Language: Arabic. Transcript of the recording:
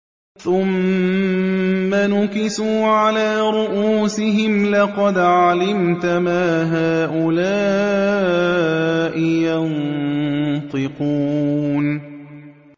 ثُمَّ نُكِسُوا عَلَىٰ رُءُوسِهِمْ لَقَدْ عَلِمْتَ مَا هَٰؤُلَاءِ يَنطِقُونَ